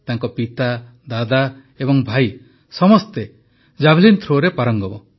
ତାଙ୍କ ପିତା ଦାଦା ଏବଂ ଭାଇ ସମସ୍ତେ ଜାଭେଲିନ୍ ଥ୍ରୋରେ ପାରଙ୍ଗମ